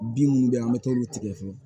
Bin minnu bɛ yen an bɛ t'olu tigɛ fo